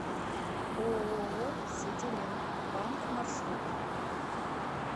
ооо сетелем банк маршрут